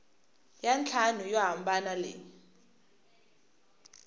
ya ntlhanu yo hambana leyi